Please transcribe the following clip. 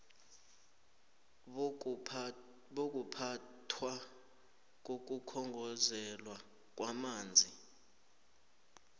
bokuphathwa kokukhongozelwa kwamanzi